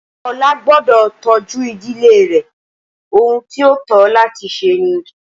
Olá gbọ́dọ̀ tọ́jú ìdílé rẹ, ohun tí ó tó láti ṣe ni